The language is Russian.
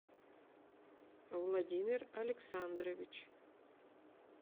владимир александрович